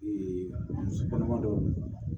muso kɔnɔma dɔ